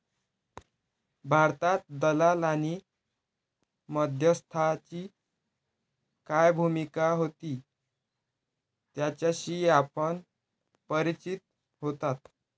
भारतात दलाल आणि मध्यस्थाची काय भूमिका होती याच्याशी आपण परिचित होतात.